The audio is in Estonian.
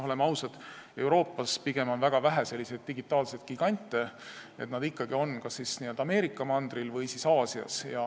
Oleme ausad, Euroopas on väga vähe selliseid digitaalseid gigante, nad on ikkagi kas Ameerika mandril või Aasias.